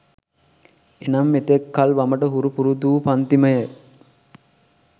එනම් එතෙක් කල් වමට හුරු පුරුදු වූ පංතිමය